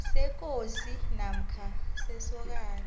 sekosi namkha sekosana